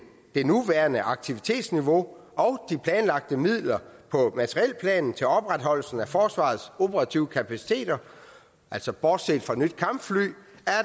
det nuværende aktivitetsniveau og de planlagte midler på materielplanen til opretholdelsen af forsvarets operative kapaciteter altså bortset fra nye kampfly